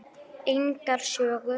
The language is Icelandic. Engar sögur.